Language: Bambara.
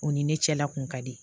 U ni ne cɛla kun ka di